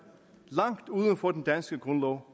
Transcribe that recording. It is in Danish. langt uden for den danske grundlov